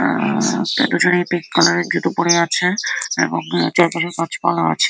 আ-আ এরা দুজনেই পিংক কালারের জুতো পড়ে আছে এবং গাছ পালা আছে।